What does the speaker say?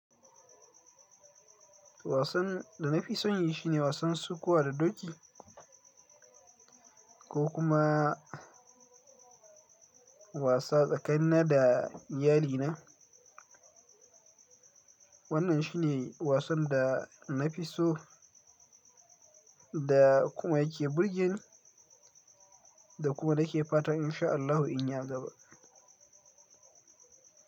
Wasan da na fi son yi shi ne wasan sukuwa da doki ko kuma wasa tsakanina da iyalina. Wannan shi ne wasan da na fi so da kuma yake burgeni da kuma nake fatan in sha Allahu in ya gaba.